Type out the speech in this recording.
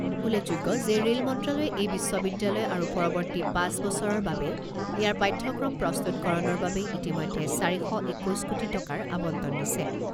উল্লেখযোগ্য যে ৰে'ল মন্ত্ৰালয়ে এই বিশ্ববিদ্যালয় আৰু পৰৱৰ্তী পাঁচ বছৰৰ বাবে ইয়াৰ পাঠ্যক্ৰম প্ৰস্তুকৰণৰ বাবে ইতিমধ্যে চাৰি শ একৈছ কোটি টকাৰ আবণ্টন দিছে।